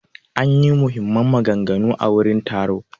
An ƴi muhimman maganganu a wurin taro.